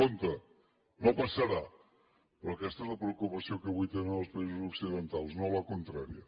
compte no passarà però aquesta és la preocupació que avui tenen els països occidentals no la contrària